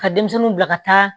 Ka denmisɛnninw bila ka taa